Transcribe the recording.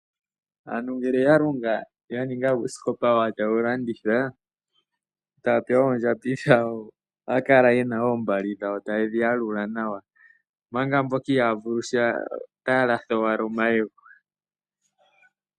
Aantu ngele ya longa ya ninga uusikopa wawo etaye wulanditha ohaya kala yena oombali dhawo taye dhi yalula omanga mboka ihaya vulu sha ohaya kala taya latha omayego.